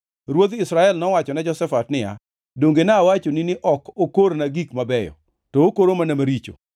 Ruodh Israel nowachone Jehoshafat niya, “Donge nawachoni ni ok okorna gik mabeyo, to okoro mana gik maricho?”